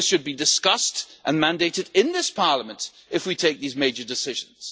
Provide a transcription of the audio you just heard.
This should be discussed and mandated in this Parliament if we take these major decisions.